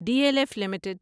D L F limited